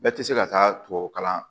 Bɛɛ tɛ se ka taa tubabu kalan